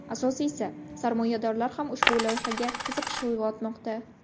Asosiysi – sarmoyadorlar ham ushbu loyihaga qiziqish uyg‘otmoqda.